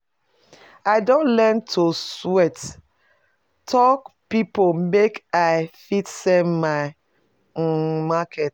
I don learn to sweat talk pipo make I fit sell my um market.